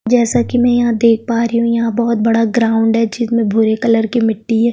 जैसे की मै यहाँ देख पा रही हु यहाँ बहुत बड़ा ग्राउंड है जिसमे भूरे कलर की मिट्टी है।